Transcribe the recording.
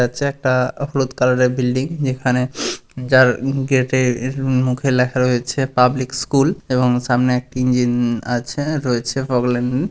যাচ্ছে একটা-আ হলুদ কালারের বিল্ডিং । যেখানে যার গেটের এ মুখে লেখা রয়েছে পাবলিক স্কুল এবং সামনে ইঞ্জিন-ন আছে রয়েছে প্রব্লেম-ম-ম --